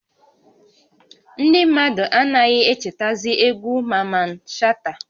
Ndị mmadụ anaghị echetazị egwu Maman Shata